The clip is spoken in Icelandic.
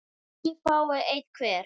tíu fái einn hver